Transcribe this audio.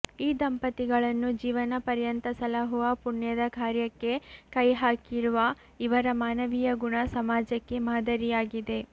ಈ ದಂಪತಿಗಳನ್ನು ಜೀವನ ಪರ್ಯಂತ ಸಲಹುವ ಪುಣ್ಯದ ಕಾರ್ಯಕ್ಕೆ ಕೈ ಹಾಕಿರುವ ಇವರ ಮಾನವೀಯ ಗುಣ ಸಮಾಜಕ್ಕೆ ಮಾದರಿಯಾಗಿದೆ